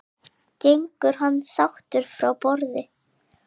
Gengur hann sáttur frá borði?